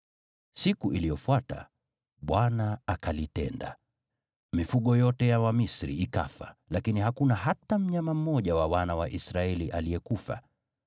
Siku iliyofuata Bwana akalitenda: Mifugo yote ya Wamisri ikafa, lakini hakuna hata mnyama mmoja wa wana wa Israeli aliyekufa.